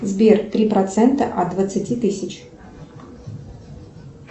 сбер три процента от двадцати тысяч